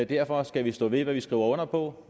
derfor skal vi stå ved hvad vi skriver under på